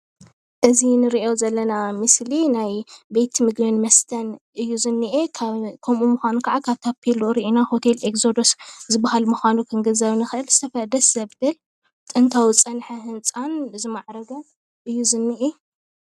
እዚ ንሪኦ ዘለና ምስሊ ሆቴል ኮይኑ ኤዜዶስ ዝበሃል ኮይኑ ደስ ባሃሊ ጥንታዊ ዝማዕረገ ህንፃ ዘርኢ ምስሊ እዩ፡፡